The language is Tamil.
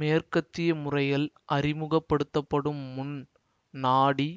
மேற்கத்திய முறைகள் அறிமுக படுத்தப்படும் முன் நாடி